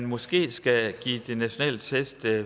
måske skal give de nationale test